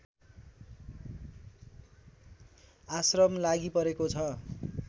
आश्रम लागिपरेको छ